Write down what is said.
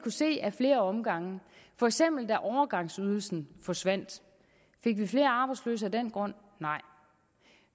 se ad flere omgange for eksempel da overgangsydelsen forsvandt fik vi flere arbejdsløse af den grund nej